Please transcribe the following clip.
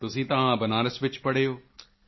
ਤੁਸੀਂ ਤਾਂ ਬਨਾਰਸ ਵਿੱਚ ਪੜ੍ਹੇ ਹੋ